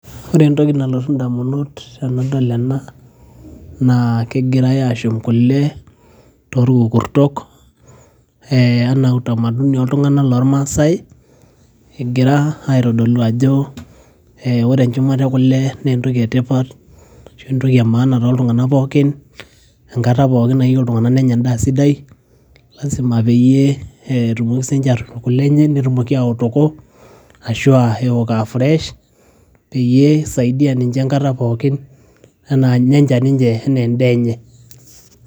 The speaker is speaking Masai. Ore entoki nalotu indamunot tandol enaa, naa kegirai ashum kule toolkukurto anaa utamaduni oltung'ana lol maasai, egira aitodolu ajo ore enchumata e kule naa entoki e tipat ashu entoki e maana too ltung'ana pookin enkata pooki nayieu iltung'ana nenya endaa sidai, lazima peyie etumoki sii ninche aatorip kule nche aok e oto ashu eok aa fresh, peyie eisaidia ninche enkata pooki anaa nenya ninche anaa endaa enche.